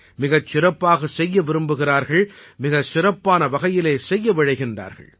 மிகச் சிறப்பாகச் செய்ய விரும்புகிறார்கள் மிகச் சிறப்பான வகையிலே செய்ய விழைகிறார்கள்